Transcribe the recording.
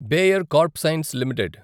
Bayer crop science limited